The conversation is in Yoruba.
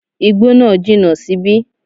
Igbó náà jìnà síbí